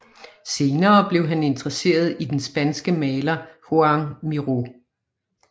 Senere blev han interesseret i den spanske maler Joan Miró